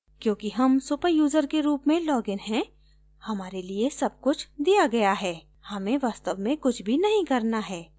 क्योंकि हम superuser के रूप में लॉगिन हैं हमारे लिए सब कुछ दिया गया है हमें वास्तव में कुछ भी नहीं करना है